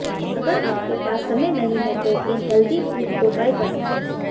अगर आपके पास समय नहीं हैं तो इन हेल्दी फूड को ट्राई कर सकते हैं